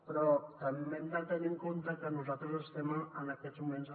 però també hem de tenir en compte que nosaltres estem en aquests moments